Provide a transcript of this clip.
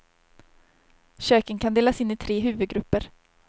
Köken kan delas in i tre huvudgrupper.